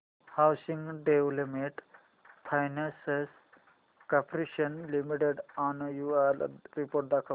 housing development finance corporation limited annual report दाखव